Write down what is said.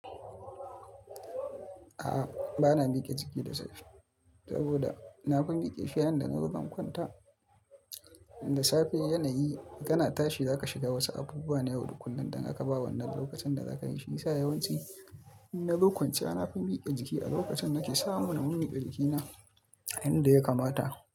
A'a, ba na miƙe jiki da safe saboda na fi miƙe shi yanda na fi gan kwanta. Da safe yanayi kana tashi za ka shiga wasu abubuwa na yau da kullum da aka ba wanna lokacin da za ka yi shi. Sa yawanci in na ga kwanciya na fi miƙe jiki a lokacin na ke sa mu na mun miƙe jikina yanda ya kamata.